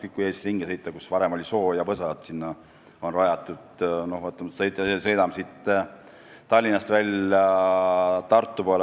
Kui Eestis ringi sõita, näiteks siit Tallinnast välja Tartu poole, siis on näha, et sinna, kus varem oli soo ja võsa, on midagi rajatud.